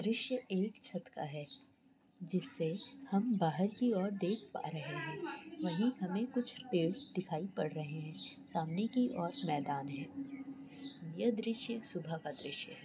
दृश्य एक छत का है जिससे कि हम बाहर देख पा रहे है जिस पर हम पेड़ देख पा रहे है सामने के ओर मैदान है यह दृश्य सुबह का है।